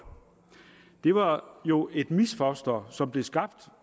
det var jo et misfoster som blev skabt